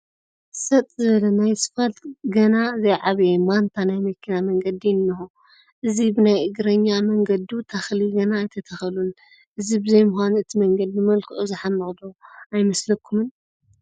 ሰጥ ዝበለ ናብ ስፋልት ገና ዘይዓበየ ማንታ ናይ መኪና መንገዲ እኒሆ፡፡ እዚ ብናይ እግረኛ መንገዱ ተኽሊ ገና ኣይተተኸለሉን፡፡ እዚ ብዘይምዃኑ እቲ መንገዲ መልክዑ ዝሓምቕ ዶ ኣይመስለኩምን?